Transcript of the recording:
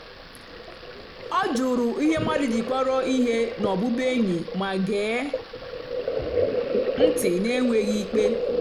ọ jụ̀rù ihe mmadụ́ jì kpọ̀rọ́ ihe na ọ́bụ́bụ́ényì mà gèè ntị́ n'ènwèghị́ ìkpè.